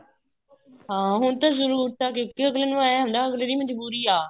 ਹਾਂ ਹੁਣ ਜਰੂਰਤ ਹਾਂ ਤਾਂ ਕਿਉਂਕਿ ਅਗਲੇ ਨੂੰ ਏਵੇਂ ਹੁੰਦਾ ਅਗਲੇ ਦੀ ਮਜਬੂਰੀ ਆ